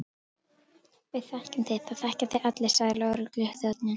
Við þekkjum þig, það þekkja þig allir sagði lögregluþjónninn.